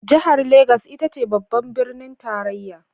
Jihar Legas ita ce babban birnin tarayya.